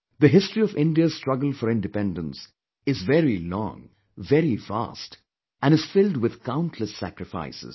The history of India's struggle for independence is very long, very vast and is filled with countless sacrifices